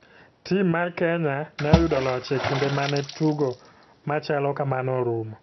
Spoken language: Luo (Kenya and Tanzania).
Tim mar kenya ne oyudo loch e kinde mane tugo machalo kamano orumo.